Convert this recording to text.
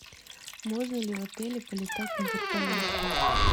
можно ли в отеле полетать на вертолете